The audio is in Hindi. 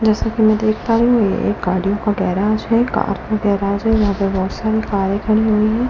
जैसा कि मैं देख पा रही हूं ये एक गाड़ियों का गैराज है कार का गैराज है यहां पर बहुत सारी कारें खड़ी हुई है।